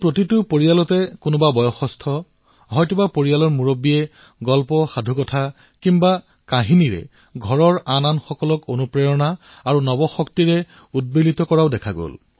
প্ৰতিটো পৰিয়ালত কোনোবা নহয় কোনোবাজন পৰিয়ালৰ বয়স্ক ব্যক্তিজনে কাহিনী শুনাইছিল আৰু ঘৰলৈ নতুন প্ৰেৰণা আৰু নতুন শক্তিৰ সঞ্চাৰ কৰিছিল